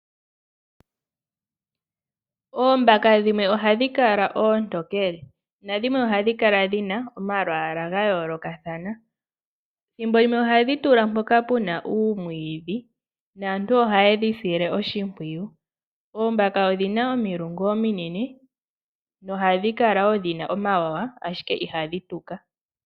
Oombaka dhimwe ohadhi kala oontekele nadhimwe ohadhi kala dhina omalwaala ga yoolokathana, ethimbolimwe ohadhi kala mpoka pena omwiidhi naantu ohayedhi sile oshimpwiyu. Oombaka odhina omilungu ominene nohadhi kala dhina omawawa ashike ihadhi tuka.